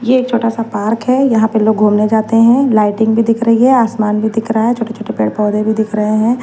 ये छोटा सा पार्क है यहां पे लोग घूमने जाते हैं लाइटिंग भी दिख रही है आसमान भी दिख रहा है छोटे-छोटे पेड़-पौधे भी दिख रहे हैं।